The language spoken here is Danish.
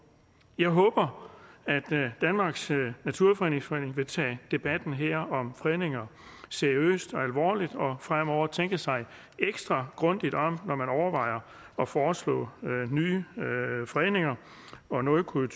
jeg håber at danmarks naturfredningsforening vil tage debatten her om fredninger seriøst og alvorligt og fremover tænke sig ekstra grundigt om når man overvejer at foreslå nye fredninger og noget kunne